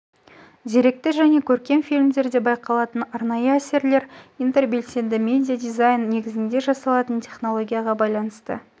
деректі және көркем фильмдерде байқалатын арнайы әсерлер интербелсенді медиадизайн негізінде жасалатын технологияға байланысты